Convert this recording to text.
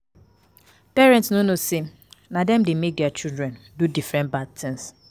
Parents no know say na dem dey make their children do different bad things